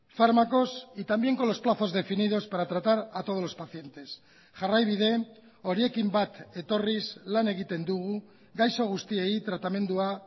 fármacos y también con los plazos definidos para tratar a todos los pacientes jarraibide horiekin bat etorriz lan egiten dugu gaixo guztiei tratamendua